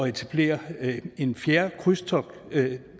etablere en fjerde krydstogtsterminal